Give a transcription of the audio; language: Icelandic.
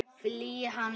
Fylgir hann liðinu?